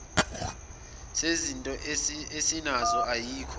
sezinto esinazo ayikho